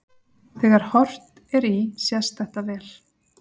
þegar horft er í sést þetta vel